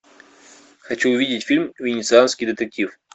хочу увидеть фильм венецианский детектив